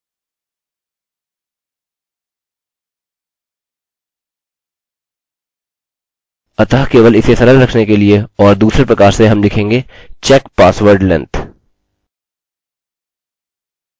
यहाँ मैं लिखता हूँ यदि पासवर्ड की स्ट्रिंग लम्बाई 25 से ज़्यादा है या हमारे पासवर्ड की स्ट्रिंग लम्बाई 6 अक्षरों से कम है